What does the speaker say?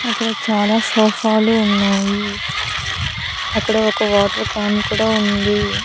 అక్కడ చాలా సోఫాలు ఉన్నాయి అక్కడ ఒక వాటర్ క్యాన్ కుడా ఉంది.